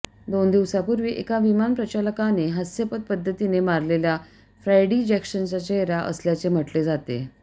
दोन दिवसांपूर्वी एका विमान प्रचालकाने हास्यास्पद पद्धतीने मारलेल्या फ्रॅडी जॅक्सनचा चेहरा असल्याचे म्हटले जाते